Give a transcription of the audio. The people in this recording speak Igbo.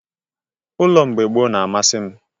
Ụlọ mgbe Igbo gboo n'amasị m.